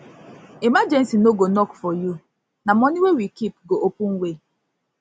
emergency no go knock for you na money wey we keep go open way